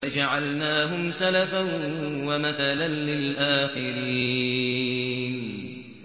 فَجَعَلْنَاهُمْ سَلَفًا وَمَثَلًا لِّلْآخِرِينَ